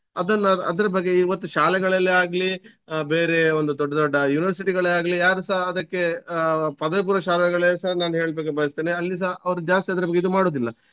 ಅದನ್ನ ನಾನ್~ ಅದ್ರ ಬಗ್ಗೆ ಇವತ್ತು ಶಾಲೆಗಳಲ್ಲಾಗ್ಲಿ ಆಹ್ ಬೇರೆ ಒಂದು ದೊಡ್ಡ ದೊಡ್ಡ university ಗಳೇ ಆಗ್ಲಿ ಯಾರು ಸ ಅದಕ್ಕೆ ಆಹ್ ಪದವಿ ಪೂರ್ವ ಶಾಲೆಗಳಲ್ಲಿ ಸಹ ನಾನು ಹೇಳ್ಲಿಕೆ ಬಯಸ್ತೇನೆ ಅಲ್ಲಿಸ ಅವ್ರು ಜಾಸ್ತಿ ಆದ್ರೆ ನಮ್ಗೆ ಇದು ಮಾಡುದಿಲ್ಲ.